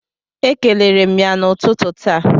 Ekelere m ya n'ụtụtụ taa.